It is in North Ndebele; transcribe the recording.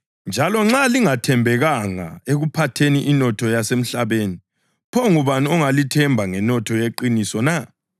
Ngakho-ke, nxa lingathembekanga ekuphatheni inotho yasemhlabeni, pho ngubani ongalithemba ngenotho yeqiniso na?